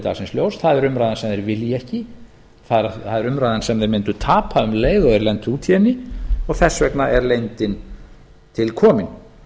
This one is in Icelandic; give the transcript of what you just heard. dagsins ljós það er umræðan sem þeir vilja ekki það er umræðan sem þeir mundu tapa um leið og þeir lentu út í henni og þess vegna er leyndin til komin